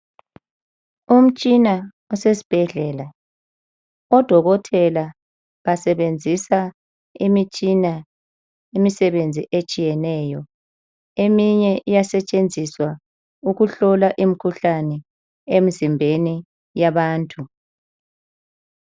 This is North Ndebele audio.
Umtshina osesibhedlela. Odokotela basebenzisa imitshina imisebenzi etshiyeneyo. Eminye iyasebenza ukuhlola imikhuhlane emzimbeni yabantu.